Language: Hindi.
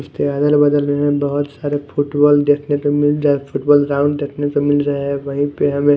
हमे बोहोत सारे फुटबॉल देखने को मिल जाए फुटबॉल ग्राउंड देखने को मिल रहे है वही पे हमे--